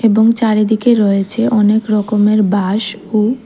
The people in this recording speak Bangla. এবং চারিদিকে রয়েছে অনেক রকমের বাঁশ ও--